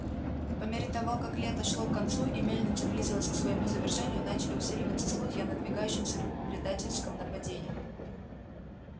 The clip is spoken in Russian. по мере того как лето шло к концу и мельница близилась к своему завершению начали усиливаться слухи о надвигающемся предательском нападении